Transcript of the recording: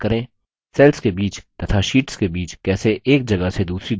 cells के बीच तथा शीट्स के बीच कैसे एक जगह से दूसरी जगह जाएँ